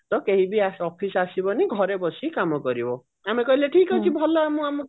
ତ କେହିବି office ଆସିବନି ଘରେ ବସି କାମ କରିବ ଆମେ କହିଲୁ ଠିକ ଅଛି ଭଲ ଆମ